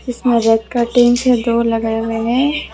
जिसमें red curtain दो लगाए हुए हैं।